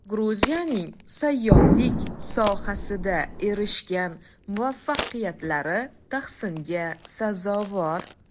Gruziyaning sayyohlik sohasida erishgan muvaffaqiyatlari tahsinga sazovor.